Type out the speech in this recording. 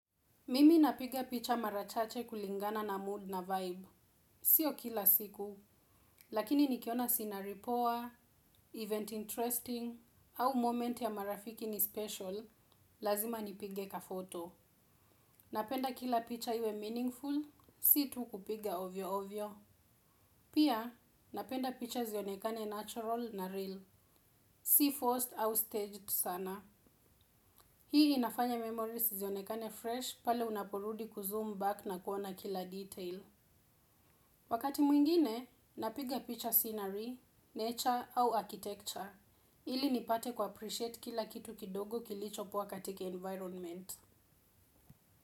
Mimi napiga picha mara chache kulingana na 'mood' na 'vibe'. Sio kila siku, lakini nikiona 'scenery' poa, 'event interesting', au 'moment' ya marafiki ni 'special', lazima nipige 'kaphoto'. Napenda kila picha iwe 'meaningful', si tu kupiga ovyo ovyo. Pia, napenda picha zionekane natural na real. Si 'forced' au 'staged' sana. Hii inafanya 'memories' zionekane 'fresh', pale unaporudi 'kuzoom back' na kuona kila 'detail'. Wakati mwingine, napiga picha 'scenery', 'nature au architecture', ili nipate 'kuappreciate' kila kitu kidogo kilicho kuwa katika 'environment'.